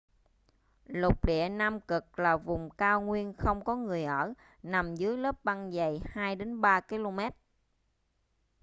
lục địa nam cực là vùng cao nguyên không có người ở nằm dưới lớp băng dày 2 - 3 km